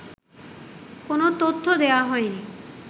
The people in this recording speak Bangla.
কোন তথ্য দেয়া হয়নি